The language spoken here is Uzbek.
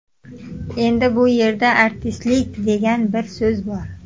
Endi bu yerda ‘artistlik’ degan bir so‘z bor.